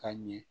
Ka ɲɛ